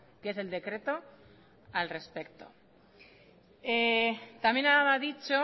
que es el decreto al respecto también ha dicho